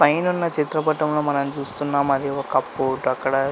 పైనున్న చిత్రపటంలో మనం చూస్తున్నాము అది ఒక పోర్ట్ అక్కడ.